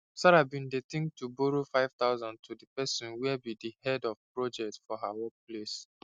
sarah bin dey think to borrow 5000 to the person where be the head of projects for her work place